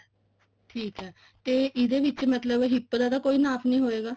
ਠੀਕ ਐ ਤੇ ਇਹਦੇ ਵਿੱਚ ਮਤਲਬ hip ਦਾ ਤਾਂ ਕੋਈ ਨਾਪ ਨਹੀਂ ਹੋਏਗਾ